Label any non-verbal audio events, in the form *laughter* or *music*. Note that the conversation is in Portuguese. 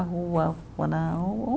A rua. *unintelligible*